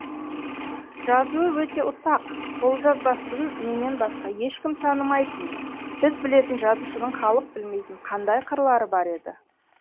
жазуы өте ұсақ қолжазбасын менен басқа ешкім танымайтын біз білетін жазушының халық білмейтін қандай қырлары бар еді